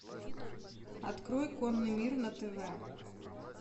открой конный мир на тв